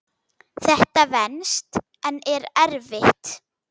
Þetta venst en er erfitt.